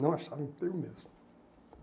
não acharam emprego mesmo.